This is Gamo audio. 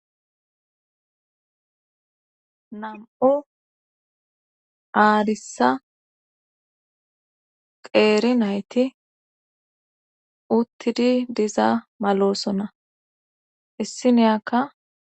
boncho gammu dere dunguza koote maydaytikka qoofey woththida asatikka issife gididii tobetishe de7o sona quusso koetikka issi asi kaaleththiza qofazakka kaallishe uttiti waraqatataka oykkidi de7osona